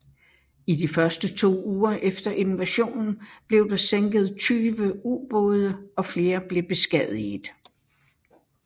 I de to første uger efter invasionen blev der derved sænket 20 ubåde og flere blev beskadiget